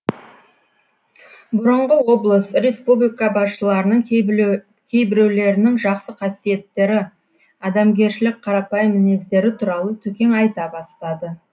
бұрыңғы облыс республика басшыларының кейбіреулерінің жақсы қасиеттері адамгершілік қарапайым мінездері туралы төкең айта бастады